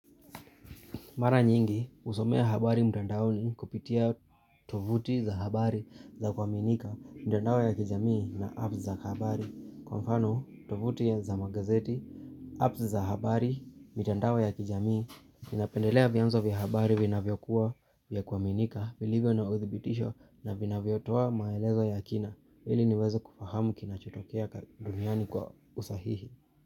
Mara nyingi husomea habari mtandaoni kupitia tuvuti za habari za kwaminika, mtandao ya kijamii na apps za habari. Kwa mfano, tovuti za magazeti, apps za habari, mitandao ya kijamii, napendelea vianzo vya habari vina vyokuwa vya kwaminika, vilivyo na uthibitisho na vina vyotoa maelezo ya kina, ili niweze kufahamu kina chotokea duniani kwa usahihi.